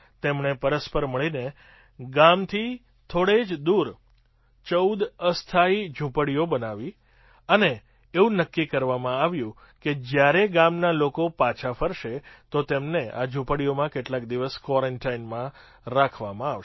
તેમણે પરસ્પર મળીને ગામથી થોડે જ દૂર ૧૪ અસ્થાયી ઝૂંપડીઓ બનાવી અને એવું નક્કી કરવામાં આવ્યું કે જ્યારે ગામના લોકો પાછા ફરશે તો તેમને આ ઝૂંપડીઓમાં કેટલાક દિવસ ક્વૉરન્ટાઇનમાં રાખવામાં આવશે